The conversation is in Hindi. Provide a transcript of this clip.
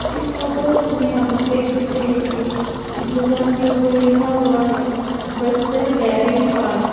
इस फोटोज में हम लोग देख सकते हैं कि इस दुकान के ऊपर लिखा हुआ है बस्तर डेरी फार्म ।